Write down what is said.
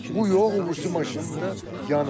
Bu yox, o birisi maşın da yanıb.